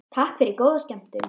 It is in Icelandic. Takk fyrir og góða skemmtun.